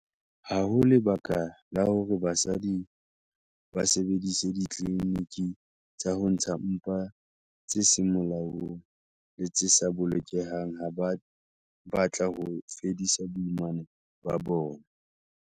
Ha ho lebaka la hore basadi ba sebedise ditliliniki tsa ho ntsha mpa tse seng molaong le tse sa bolokehang ha ba batla ho fedisa boimana ba bona.